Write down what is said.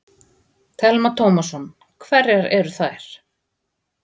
Telma Tómasson: Hverjar eru þær?